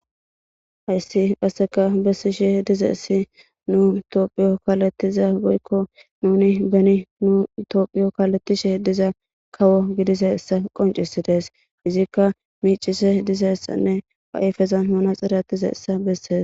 Haysi qaseka besishe dizaysi nutophiyiyo kaletiza woykon nu beni nuni itophiyiyo kaletishe de'iya kawo gidizaysa qoncisides isika micishe dizaysa beses.